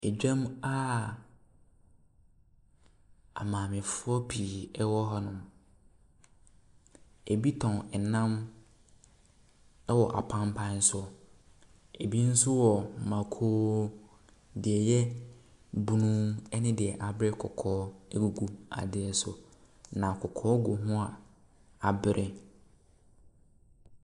Dwam a amaamefoɔ pii wɔ hɔnom. Ebi tɔn nam wɔ apanpan so. Ebi nso wɔ mako; deɛ ɛyɛ bunu ne deɛ abere kɔkɔɔ egugu deɛ so, na kɔkɔɔ gu ho a abere.